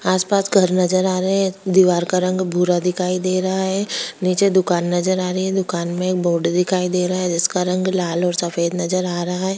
आस-पास घर नजर आ रहे हैं दीवार का रंग भूरा दिखाई दे रहा है नीचे दुकान नजर आ रही है दुकान में एक बोर्ड दिखाई दे रहा है जिसका रंग लाल और सफेद नजर आ रहा है।